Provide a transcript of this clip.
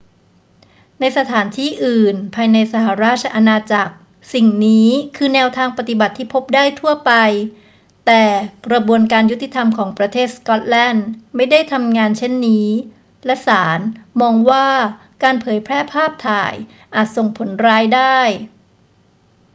ในสถานที่อื่นภายในสหราชอาณาจักร สิ่งนี้คือแนวทางปฏิบัติที่พบได้ทั่วไป แต่กระบวนการยุติธรรมของประเทศสก็อตแลนด์ไม่ได้ทำงานเช่นนี้ และศาลมองว่าการเผยแพร่ภาพถ่ายอาจส่งผลร้ายได้